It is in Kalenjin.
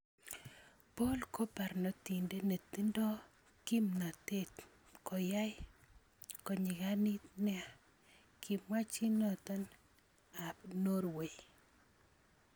"Paul ko barnotindet netindo kimnatet - koyae konyiganit nea," kimwa chi noto ab Norway.